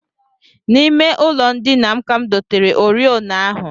N'ime ụlọndina m ka m dotere oriọna ahụ